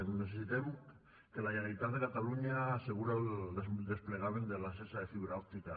necessitem que la generalitat de catalunya asseguri el desplegament de la xarxa de fibra òptica